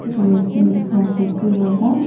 जेक नीली snow fish बि होगा।